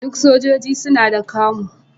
Duk sojoji suna da camo.